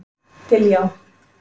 Diljá